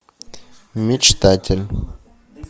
мечтатель